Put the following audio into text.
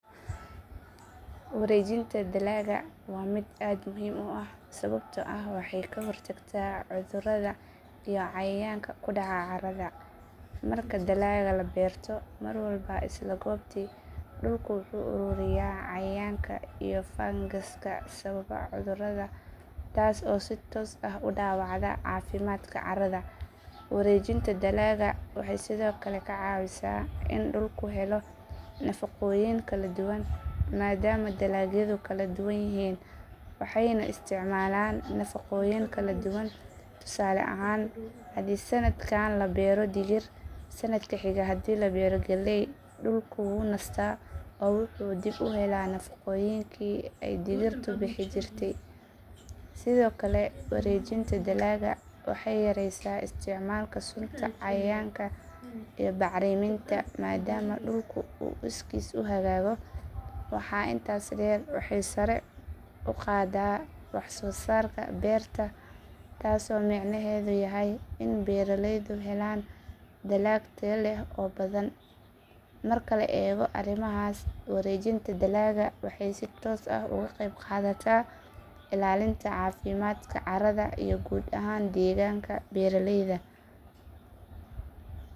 Wareejinta dalagga waa mid aad muhiim u ah sababtoo ah waxay ka hortagtaa cudurrada iyo cayayaanka ku dhaca caarada. Marka dalagga la beerto mar walba isla goobtii, dhulku wuxuu uruuriyaa cayayaanka iyo fangaska sababa cudurrada, taas oo si toos ah u dhaawacda caafimaadka caarada. Wareejinta dalagga waxay sidoo kale ka caawisaa in dhulku helo nafaqooyin kala duwan, maadaama dalagyadu kala duwan yihiin waxayna isticmaalaan nafaqooyin kala duwan. Tusaale ahaan haddii sannadkan la beero digir, sannadka xiga haddii la beero galley, dhulku wuu nastaa oo wuxuu dib u helaa nafaqooyinkii ay digirtu bixin jirtay. Sidoo kale, wareejinta dalagga waxay yaraysaa isticmaalka sunta cayayaanka iyo bacriminta maadaama dhulku uu iskiis u hagaago. Waxaa intaas dheer, waxay sare u qaaddaa wax-soo-saarka beerta, taasoo micnaheedu yahay in beeraleydu helaan dalag tayo leh oo badan. Marka la eego arrimahaas, wareejinta dalagga waxay si toos ah uga qayb qaadataa ilaalinta caafimaadka caarada iyo guud ahaan deegaanka beeraleyda.